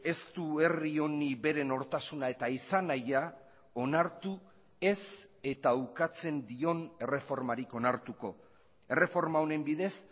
ez du herri honi bere nortasuna eta izan nahia onartu ez eta ukatzen dion erreformarik onartuko erreforma honen bidez